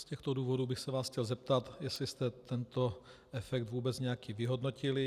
Z těchto důvodů bych se vás chtěl zeptat, jestli jste tento efekt vůbec nějaký vyhodnotili.